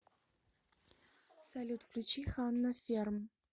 салют включи ханна ферм